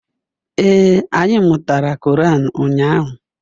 Ee, anyị mụtara Korean ụnyaahụ